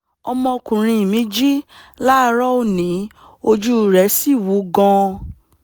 ọmọkùnrin mi jí láàárọ̀ òní ojú rẹ̀ sì wú gan-an